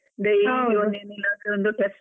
.